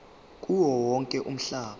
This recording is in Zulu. kuwo wonke umhlaba